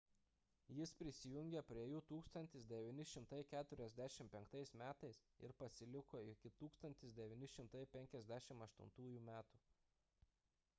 jis prisijungė prie jų 1945 m ir pasiliko iki 1958 m